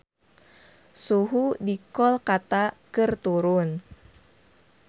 Suhu di Kolkata keur turun